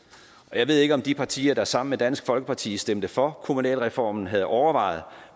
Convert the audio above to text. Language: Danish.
og jeg ved ikke om de partier der sammen med dansk folkeparti stemte for kommunalreformen havde overvejet